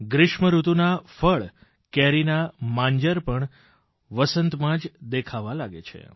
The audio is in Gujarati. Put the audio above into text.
ગ્રીષ્મ ઋતુનાં ફળ કેરીના માંજર પણ વસંતમાં જ દેખાવા લાગે છે